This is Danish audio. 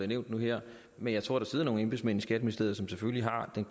nævnt nu her men jeg tror der sidder nogle embedsmænd i skatteministeriet som selvfølgelig har den